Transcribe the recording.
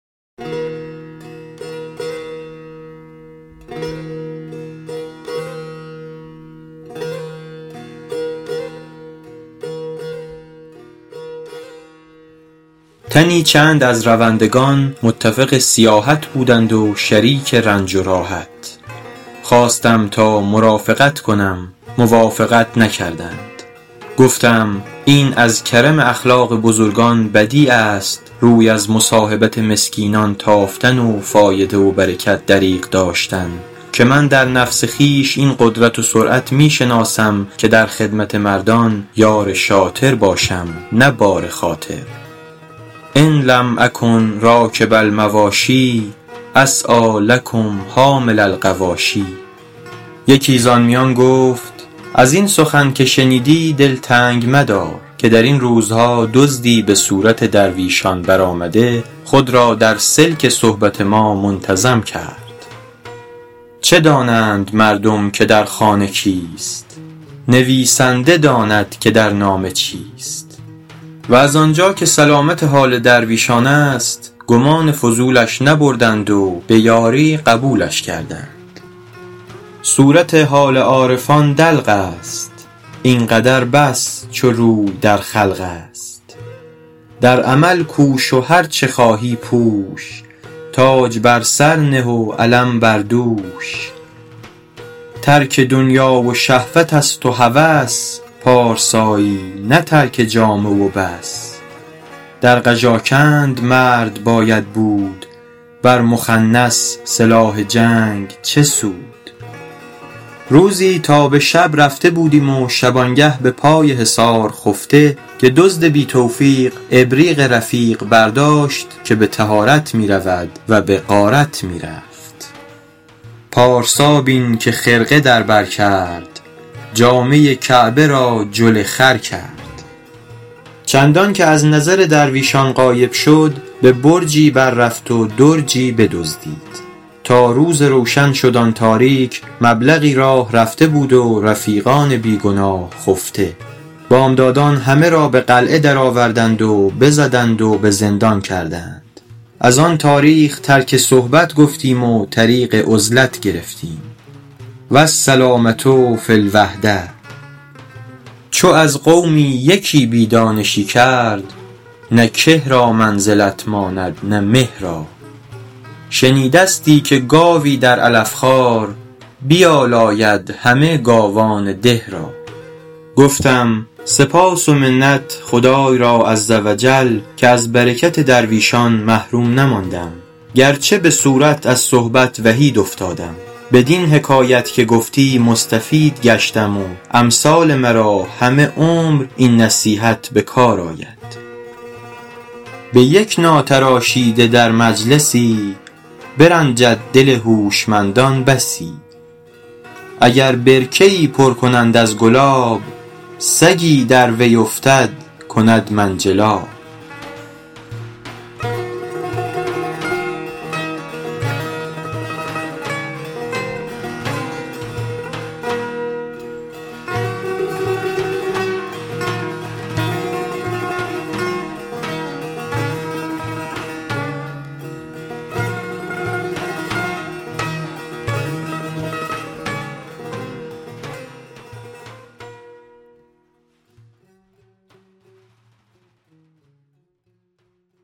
تنی چند از روندگان متفق سیاحت بودند و شریک رنج و راحت خواستم تا مرافقت کنم موافقت نکردند گفتم این از کرم اخلاق بزرگان بدیع است روی از مصاحبت مسکینان تافتن و فایده و برکت دریغ داشتن که من در نفس خویش این قدرت و سرعت می شناسم که در خدمت مردان یار شاطر باشم نه بار خاطر ان لم اکن راکب المواشی اسعیٰ لکم حامل الغواشی یکی زآن میان گفت از این سخن که شنیدی دل تنگ مدار که در این روزها دزدی به صورت درویشان برآمده خود را در سلک صحبت ما منتظم کرد چه دانند مردم که در خانه کیست نویسنده داند که در نامه چیست و از آنجا که سلامت حال درویشان است گمان فضولش نبردند و به یاری قبولش کردند صورت حال عارفان دلق است این قدر بس چو روی در خلق است در عمل کوش و هرچه خواهی پوش تاج بر سر نه و علم بر دوش ترک دنیا و شهوت است و هوس پارسایی نه ترک جامه و بس در قژاکند مرد باید بود بر مخنث سلاح جنگ چه سود روزی تا به شب رفته بودیم و شبانگه به پای حصار خفته که دزد بی توفیق ابریق رفیق برداشت که به طهارت می رود و به غارت می رفت پارسا بین که خرقه در بر کرد جامه کعبه را جل خر کرد چندان که از نظر درویشان غایب شد به برجی بر رفت و درجی بدزدید تا روز روشن شد آن تاریک مبلغی راه رفته بود و رفیقان بی گناه خفته بامدادان همه را به قلعه درآوردند و بزدند و به زندان کردند از آن تاریخ ترک صحبت گفتیم و طریق عزلت گرفتیم والسلامة فی الوحدة چو از قومی یکی بی دانشی کرد نه که را منزلت ماند نه مه را شنیدستی که گاوی در علف خوار بیالاید همه گاوان ده را گفتم سپاس و منت خدای را عزوجل که از برکت درویشان محروم نماندم گرچه به صورت از صحبت وحید افتادم بدین حکایت که گفتی مستفید گشتم و امثال مرا همه عمر این نصیحت به کار آید به یک ناتراشیده در مجلسی برنجد دل هوشمندان بسی اگر برکه ای پر کنند از گلاب سگی در وی افتد کند منجلاب